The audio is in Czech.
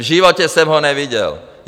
V životě jsem ho neviděl.